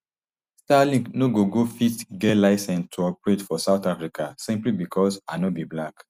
starlink no go go fit get license to operate for south africa simply becos i no be black